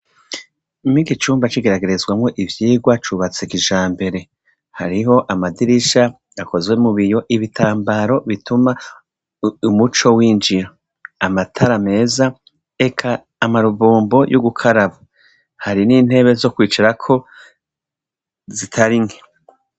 Mur'iki cumba c'igeragerezwamwo ivyirwa cubatswe kijambere, hariho amadirisha akozwe mu biyo, ibitambaro bituma umuco winjira, amatara meza, eka amabombo yogukaraba eka hari n'intebe zo kwicarako zitari nke.